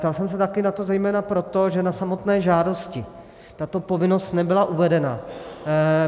Ptal jsem se taky na to zejména proto, že na samotné žádosti tato povinnost nebyla uvedena.